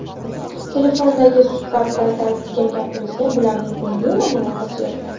Telefondagi suhbat paytida aytilgan gapimizga bularning umuman aloqasi yo‘q.